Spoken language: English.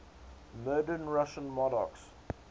murdered russian monarchs